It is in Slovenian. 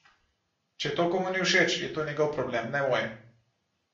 Če to komu ni všeč, je to njegov problem, ne moj!